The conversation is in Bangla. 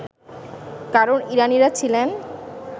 কারণ ইরানীরা ছিলেন